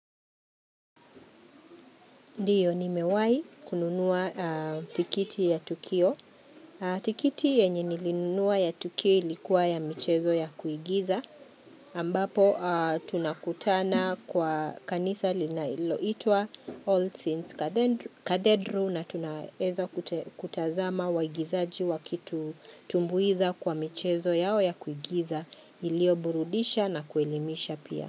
Ndiyo nimewahi kununua tiketi ya tukio. Tiketi yenye nilinunua ya tukio ilikuwa ya michezo ya kuigiza. Ambapo tunakutana kwa kanisa linalo itua all since kathedral na tunaweza kutazama waigizaji wakitu tumbuiza kwa michezo yao ya kuigiza ilio burudisha na kuelimisha pia.